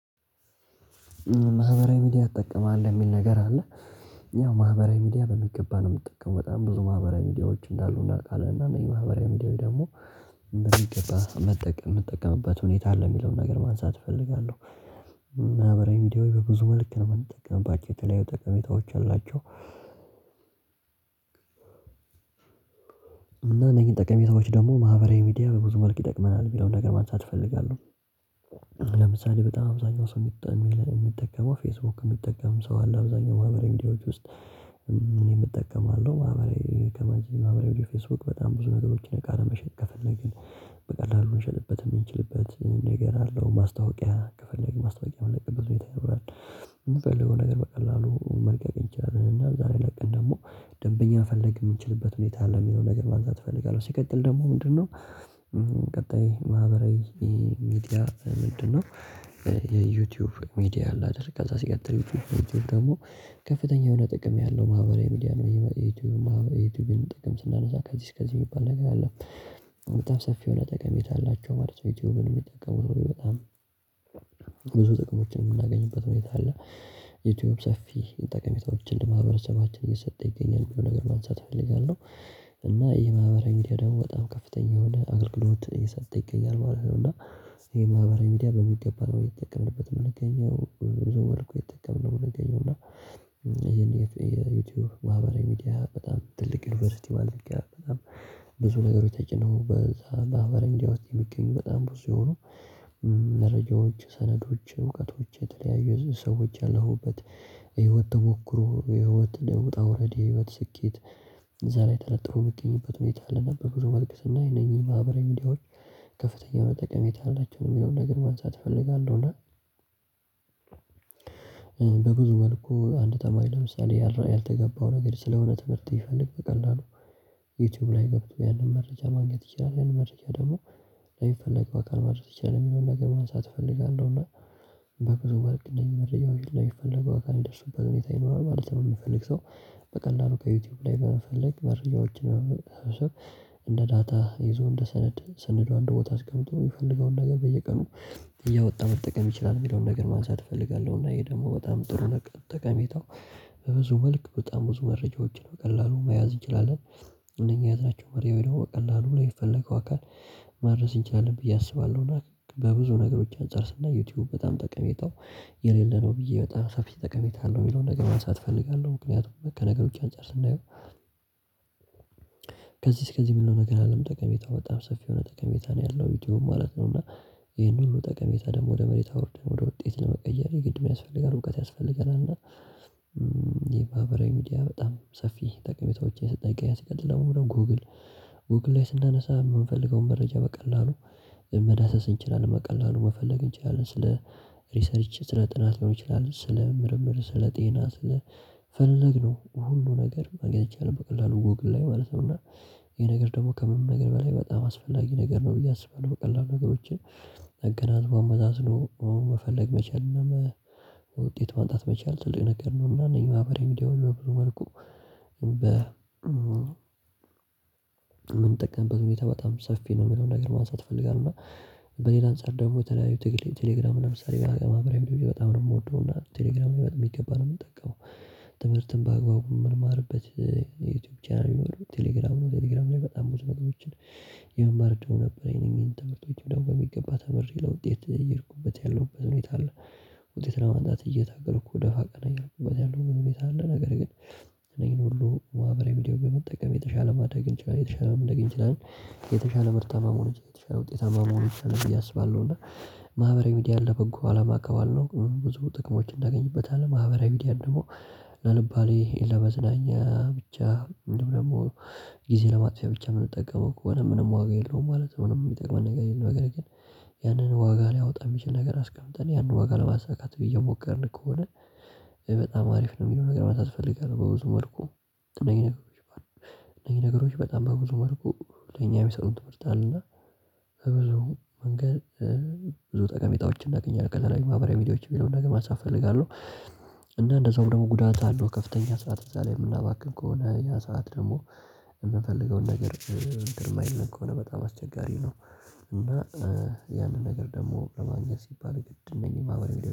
ማህበራዊ ሚዲያ ትጠቀማለህ? የሚል ነገር አለ ያው ማህበራዊ ሚዲያ በሚገባ ነው የምትጠቀመው በጣም ብዙ ማህበራዊ ሚዲያዎች እንዳሉ እናቃለን እና እነዚህ ማህበራዊ ሚዲያዊ ደግሞ በሚገባ መጠቀም የምጠቀምበት ሁኔታ አለ የሚለውን ነገር ማንሳት እፈልጋለው እና በቪዲዮዬ በብዙ መልክ ነው የምንጠቀምባቸው የተለያዩ ጠቀሜታዎች አላቸው። እና እነኚህን ጠቀሜታዎች ደግሞ ማህበራዊ ሚዲያ በብዙ መልክ ይጠቅመናል የሚለውን ነገር ማንሳት እፈልጋለው። ለምሳሌ በጣም አብዛኛው ሰው የሚጠቀመው የሚጠቀመው ፌስቡክ የሚጠቀም ሰው አለ አብዛኛው ማህበራዊ ሚዲያዎች ውስጥ እኔም እጠቀማለሁ ማህበራዊ ከማንችል ማህበራዊ ፌስቡክ በጣም ብዙ ነገሮችን አቃ ለመሸጥ ከፈለግን በቀላሉ እንሸጥበት የምንችልበት ነገር አለው ማስታወቂያ ከፈለግን ማስታወቂያ ምለቅበት ሁኔታ ይኖራል። ምንፈልገው ነገር በቀላሉ መልቀቅ አንችላለን። እና ዛሬ ለቅን ደግሞ ደንበኛ መፈልግ የምንችልበት ሁኔታ አለ የሚለው ነገር ማንሳት እፈልጋለው ሲቀጥል ደግሞ ምንድነው? ቀጣይ ማህበራዊ ሚዲያ ምንድነው? የዩቲዩብ ሚዲያ አላደርግ ከዛ ሲቀጥል ዩቲዩብ ደግሞ ከፍተኛ የሆነ ጥቅም ያለው ማህበራዊ ሚዲያ ነው የዩቲዩብ ማህበራዊ ዩቲዩብን ጥቅም ስናነሳ ከዚህ እስከዚህ የሚባል ነገር አለ በጣም ሰፊ የሆነ ጠቀሜታ አላቸው ማለት ዩቲዩብን የሚጠቀሙት በጣም ብዙ ጥቅሞችን የምናገኝበት ሁኔታ አለ ዩቲዩብ ሰፊ ጠቀሜታዎችን ለማህበረሰባችን እየሰጠ ይገኛል ምለዉን ነገር ማንሳት እፈልጋለው። እና ይሄ ማህበራዊ ሚዲያ ደግሞ በጣም ከፍተኛ የሆነ አገልግሎት እየሰጠ ይገኛል ማለት ነው እና ይሄ ማህበራዊ ሚዲያ በሚገባ ነው የተጠቀምንበት ምንገኘው ዘወርቁ የተጠቀምነው ምገኘው እና የዩቲዩብ ማህበራዊ ሚዲያ በጣም ትልቅ ዩኒቨርሲቲ ማለት ነው በጣም ብዙ ነገሮች ተጭነው በዛ ማህበራዊ ሚዲያ ዉስጥ የሚገኙ በጣም ብዙ የሆኑ መረጃዎች ሰነዶች እውቀቶች የተለያዩ ሰዎች ያለሁበት ህይወት ተሞክሮ የህይወት ውጣ ዉረድ የህይወት ስኬት እዛ ላይ ተለጥሮ ምገኝበት ሁኔታ አለና በብዙ መልክ ስናይ አነኚህን ማህበራዊ ሚዲያዎች ከፍተኛ የሆነ ጠቀሜታ አላቸው የሚለውን ነገር ማንሳት እፈልጋለው እና በብዙ መልኩ አንድ ተማሪ ለምሳሌ ያልተገባው ነገር ስለሆነ ትምህርት ይፈልግ በቀላሉ ዩቲዩብ ላይ ገብቶ ያንን መረጃ ማግኘት ይችላል ያንን መረጃ ደግሞ ለሚፈለገው አካል ማድረግ ይቻላል የሚለውን ነገር ማንሳት እፈልጋለው እና በብዙ መልክ እንደየመረጃዉዎ ላይ የፈለገው አካል ሚደርሱበት ሁኔታ ይኖራል ማለት ነው የሚፈልግ ሰው። በቀላሉ ከዩቲዩብ ላይ በመፈለግ መረጃዎችን እንደ ዳታ ይዞ እንደ ሰነድ ሰነዷ እንድ ቦታ አስቀምጦ የሚፈልገውን ነገር በየቀኑ እያወጣ መጠቀም ይችላል የሚለውን ነገር ማንሳት እፈልጋለው። እና ይሄ ደግሞ በጣም ጥሩ ነገር ተቀሜታው በብዙ መልክ በጣም ብዙ መረጃዎችን በቀላሉ መያዝ እንችላለን። እነኚህ የያዝናቸው መሪው ደግሞ ቀላሉ ላይ የሚፈለገው አካል ማድረስ እንችላለን ብዬ አስባለሁና በብዙ ነገሮች አንፃር ስናይ ዩቲዩብ በጣም ጠቀሜታው የሌለ ነው ብዬ በጣም ሰፊ ጠቀሜታ አለው የሚለውን ነገር ማንሳት እፈልጋለው። ምክንያቱም ከነገር ውጪ አንፃር ስናየው ከዚህ እስከዚህ ብሎ ነገር አይደለም ጠቀሜታው በጣም ሰፊ የሆነ ጠቀሜታ ነው ያለው ዩቲዩብ ማለት ነው እና ይሄን ሁሉ ጠቀሜታ ደግሞ ወደ መሬት አውርደን ወደ ውጤት ለመቀየር የግድ ምን ያስፈልጋል እውቀት ያስፈልገናል እና ይሄ ማህበራዊ ሚዲያ በጣም ሰፊ ጠቀሜታዎችን አየሰጠ ይገኛል ሲቀጥል ደግሞ ወደ ጎግል ጎግል ላይ ስናነሳ የምንፈልገውን መረጃ በቀላሉ መዳሰስ እንችላለን በቀላሉ መፈለግ እንችላለን ስለ ሪሰርች ስለ ጥናት ሊሆን ይችላል ስለ ምርምር ስለ ጤና ስለ ፈለግነው ሁሉ ነገር ማግኘት ይቻላል በቀላሉ ጎግል ላይ ማለት ነው። እና ይሄ ነገር ደግሞ ከምንም ነገር በላይ በጣም አስፈላጊ ነገር ነው ብዬ አስባለው በቀላሉ ነገሮችን ተገናዝቦ አመዛዝኖ አሁን መፈለግ መቻል የለም ውጤት ማምጣት መቻል ትልቅ ነገር ነው እና እነኝህ ማህበራዊ ሚድያዎች በብዙ መልኩ በ የምንጠቀምበት ሁኔታ በጣም ሰፊ ነው የሚለውን ነገር ማንሳት አፈልጋለው እና በሌላ አንፃር ደግሞ የተለያዩ ትግል ቴሌግራም ለምሳሌ በማህበራዊ ሚዲያዎች በጣም ነው የምወደው። እና ቴሌግራም በሚገባ ነው የምጠቀው ትምህርትን በአግባቡ የምንማርበት የዩቲዩብ ቻናል ቴሌግራም ነው ቴሌግራም ላይ በጣም ብዙ ነገሮችን የመማር አድሉ ነበረኝ አነኚን ትምርቶችም ደግሞ በሚገባ ተምሬ ለውጤት አየሄድኩበት ያለው በሁኔታ አለ ውጤት ለማምጣት እየታገልኩ ደፋ ቀና እያልኩበት ያለው ሁኔታ አለ ነገር ግን እነኚን ሁሉ ማህበራዊ ሚድያው በመጠቀም የተሻለ ማድረግ አንችላለን የተሻለ ምናገኝ አንችላለን። የተሻለ ምርታማ መሆን የተሻለ ውጤታማ መሆን ይችላል ብዬ አስባለው እና ማህበራዊ ሚዲያ ለበጎ አላማ ከዋልነው ብዙ ጥቅሞችን አናገኝበታለን ማህበራዊ ሚዲያ ደግሞ ለአልባሌ ለመዝናኛ ብቻ ምንም ደግሞ ጊዜ ለማጥፊያ ብቻ የምንጠቀመው ከሆነ ምንም ዋጋ የለውም ማለት ምንም የሚጠቅመን ነገር የለም ነገር ግን ያንን ዋጋ ሊያወጣ የሚችል ነገር አስቀምጠን ያንን ዋጋ ለማሳካት አየሞከርን ከሆነ በጣም አሪፍ ነው የሚለው ነገር ማንሳት አፈላጋለው በብዙ መልኩ እነኚህ ነገሮች እነኚህ ነገሮች በጣም በብዙ መልኩ ለኛም የሚሰጡት ትምህርት አለና በብዙ መንገድ ብዙ ጠቀሜታዎችን እናገኛለን ከተለያዩ ማህበራዊ ሚዲያዎችን ምለዉን ነገር ማንሳት አፍለጋለው። እና እንደዛውም ደግሞ ጉዳት አለው ከፍተኛ ሰዓት እዛ ላይ የምናባክን ከሆነ ያ ሰዓት ደግሞ የምንፈልገውን ነገር አንትን ማይለን ከሆነ በጣም አስቸጋሪ ነው እና ያንን ነገር ደግሞ ለማግኘት ሲባል የግድ እነኚህ ማህበራዊ ሚዲያዎች